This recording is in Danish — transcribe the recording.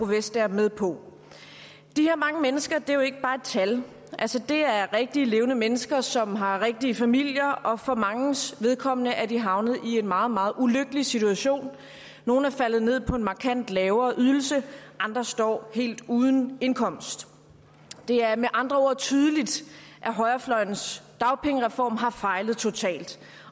vestager med på de her mange mennesker er jo ikke bare et tal det er rigtig levende mennesker som har rigtige familier og for manges vedkommende er de havnet i en meget meget ulykkelig situation nogle er faldet ned på en markant lavere ydelse andre står helt uden indkomst det er med andre ord tydeligt at højrefløjens dagpengereform har fejlet totalt